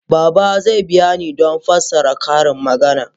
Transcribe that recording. Baba zai biya ni don fassarar ƙarin magana.